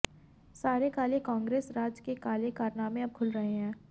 सारे काले कांग्रेस राज के काले कारनामे अब खुल रहे है